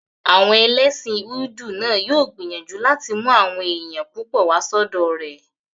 Àwọn ẹlẹ́sìn hídù náà yóò gbìyànjú láti mú àwọn èèyàn púpọ̀ wá sọ́dọ̀ rẹ̀